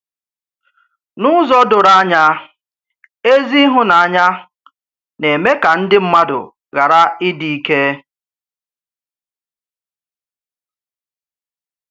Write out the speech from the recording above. N’ụzọ doro ányá, ézí ịhụ́nanya na-eme ka ndị mmádụ ghàrà ịdị ìké.